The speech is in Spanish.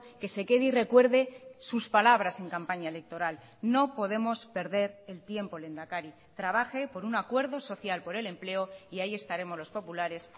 que se quede y recuerde sus palabras en campaña electoral no podemos perder el tiempo lehendakari trabaje por un acuerdo social por el empleo y ahí estaremos los populares